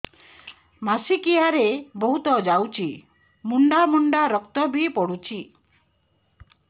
ମାସିକିଆ ରେ ବହୁତ ଯାଉଛି ମୁଣ୍ଡା ମୁଣ୍ଡା ରକ୍ତ ବି ପଡୁଛି